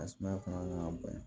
A sumaya fana nana bonya